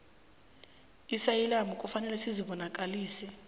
iasayilamu kufanele uzibonakalise